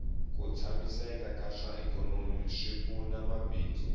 ku tshamiseka ka swa ikhonomi swi pfuna mabindzu